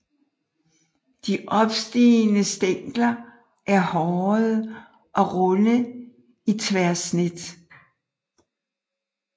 De opstigende stængler er hårede og runde i tværsnit